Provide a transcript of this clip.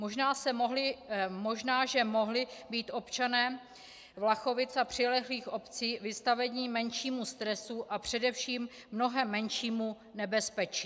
Možná že mohli být občané Vlachovic a přilehlých obcí vystaveni menšímu stresu a především mnohem menšímu nebezpečí.